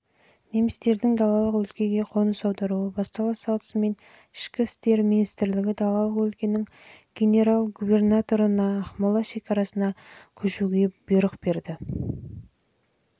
жылы немістердің далалық өлкеге қоныс аударуы бастала салысымен ішкі істер министрлігі далалық өлкенің генерал-губернаторына ақмола шекарасына көшуге